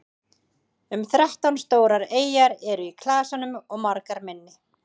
um þrettán stórar eyjar eru í klasanum og margar minni